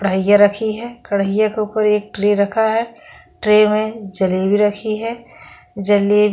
कढ़ाई रखी है कढईए के ऊपर एक ट्रे रखा है ट्रे में जलेबी रखी है जलेबी-